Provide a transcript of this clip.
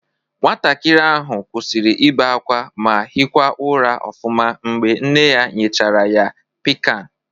Nwatakịrị ahụ kwụsịrị ịbe ákwá ma hịkwa ụra ọfụma mgbe nne ya nyechara ya Pịkan